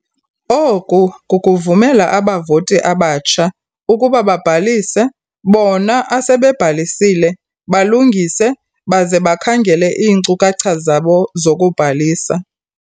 "Oku kukuvumela abavoti abatsha ukuba babhalise bona asebebhalisile balungise baze bakhangele iinkcukhacha zabo zokubhalisa."